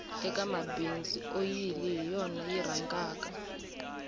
eka mabindzu oyili hi yona yi rhangaka